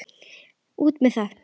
LÁRUS: Út með það!